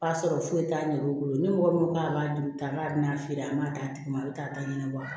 K'a sɔrɔ foyi t'a ɲɛ o bolo ni mɔgɔ min ko k'a b'a dun an b'a dun n'a feere an b'a d'a tigi ma a bɛ taa ɲɛnabɔ a kama